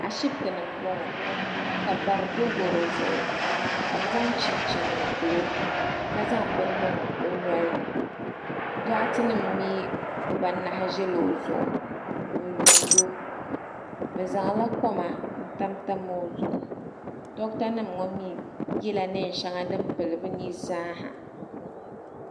Ashiptini m boŋɔ ka bara do goro zuɣu ka bɛ zaŋ chinchini m pili o ka zaŋ bini niŋ o nolini doɣate nima mee bibaata ʒila o zuɣu n yuuni o bɛ zaŋla koma n tam tam o zuɣu doɣata nima ŋɔ mee yela niɛn'sheŋa din pili bɛ ni zaaha.